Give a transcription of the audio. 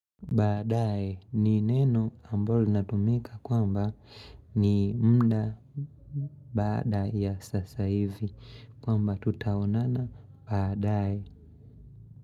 Baadaye ni neno ambalo linatumika kwamba ni muda baada ya sasa hivi kwamba tutaonana baadaye.